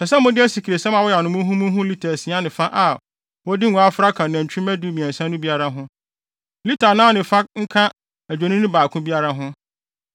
Ɛsɛ sɛ mode asikresiam a wɔayam no muhumuhu lita asia ne fa a wɔde ngo afra ka nantwimma dumiɛnsa no biara ho. Lita anan ne fa nka adwennini no baako biara ho,